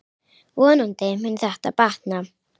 Vonandi mun þetta batna.